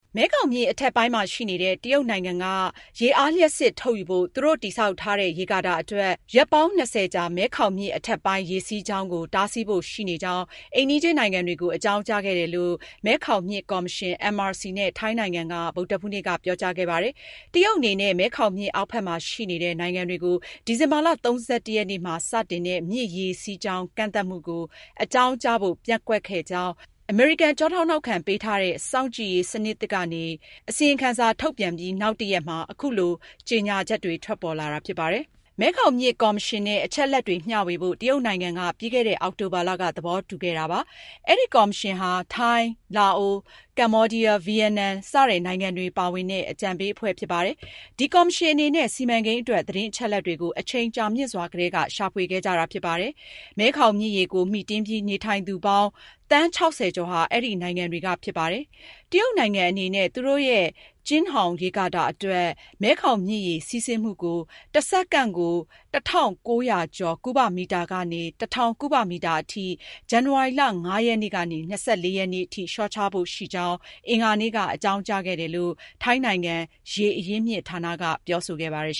မဲခေါင်မြစ် အထက်ပိုင်းမှာရှိနေတဲ့ တရုတ်နိုင်ငံကရေအားလျှပ်စစ်ထုတ်ယူဖို့ သူတို့ တည်ဆောက်ထားတဲ့ ရေကာတာအတွက် ရက်ပိုင်း ၂၀ကြာ မဲခေါင်မြစ် အထက်ပိုင်း ရေစီးကြောင်းကို တားဆီးဖို့ ရှိနေကြောင်း အိမ်နီးချင်းနိုင်ငံတွေကို အကြောင်းကြားခဲ့တယ်လို့ မဲခေါင်မြစ် ကော်မရှင် (MRC) နဲ့ ထိုင်းနိုင်ငံက ဗုဒ္ဓဟူးနေ့က ပြောကြားခဲ့ပါတယ်။ တရုတ်အနေနဲ့ မဲခေါင်မြစ် အောက်ဖက်မှာရှိနေတဲ့ နိုင်ငံတွေကို ဒီဇင်ဘာ (၃၁)ရက်မှာ စတင်တဲ့ မြစ်ရေစီးကြောင်းကန့်သတ်မှုကို အကြောင်းကြားဖို့ ပျက်ကွက်ခဲ့ကြောင်း အမေရိကန် ကျောထောက်နောက်ခံပေးထားတဲ့ စောင့်ကြည့်ရေးစနစ်သစ်ကနေ ထုတ်ပြန်ပြီး နောက်တရက်မှာ အခုလို ကြေညာချက်တွေ ထွက်ပေါ်လာခဲ့တာပါ။ မဲခေါင်မြစ် ကော်မရှင်နဲ့ အချက်အလက်တွေ မျှဝေဖို့ တရုတ်နိုင်ငံက ပြီးခဲ့တဲ့ အောက်တိုဘာလက သဘောတူထားခဲ့ပါတယ်။ အဲဒီကော်မရှင်မှာ ထိုင်း၊ လာအို၊ ကမ္ဘောဒီးယား၊ ဗီယက်နမ် ပါဝင်တဲ့ အကြံပေးအဖွဲ့ဖြစ်ပါတယ်။ ဒီကော်မရှင်အနေနဲ့ စီမံကိန်းအတွက် သတင်းအချက်အလက်တွေကို အချိန်ကြာမြင့်စွာကတည်းက ရှာဖွေခဲ့ကြတာဖြစ်ပါတယ်။ မဲခေါင်မြစ်ရေကို မှီတင်းပြီး နေထိုင်သူပါင်း သန်း (၆၀)ကျော်ဟာ အဲဒီနိုင်ငံတွေက ဖြစ်ပါတယ်။ တရုတ်နိုင်ငံအနေနဲ့သူတို့ရဲ့ Jinghong ရေကာတာအတွက် မဲခေါင်မြစ်ရေ စီးဆင်းမှုကို ၁ စက္ကန့်ကို ၁,၉၀၄ ကုဗမီတာ ကနေ ၁၀၀၀ ကုဗမီတာအထိ ဇန်နဝါရီ ၅-၂၄ ရက်နေ့ထိ လျှော့ချဖို့ရှိကြောင်း အင်္ဂါနေ့က အကြောင်းကြားခဲ့တယ်လို့ ထိုင်းနိုင်ငံ ရေ အရင်းမြစ်ဌာန က ပြောဆိုခဲ့ပါတယ်